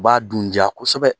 U b'a dun diya kosɛbɛ